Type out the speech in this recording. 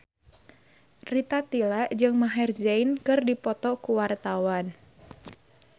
Rita Tila jeung Maher Zein keur dipoto ku wartawan